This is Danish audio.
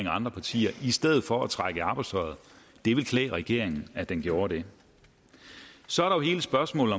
andre partier i stedet for at trække i arbejdstøjet det ville klæde regeringen at den gjorde det så er der hele spørgsmålet